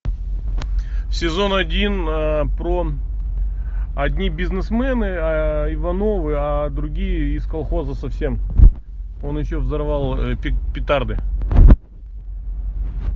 сезон один про одни бизнесмены ивановы а другие из колхоза совсем он еще взорвал петарды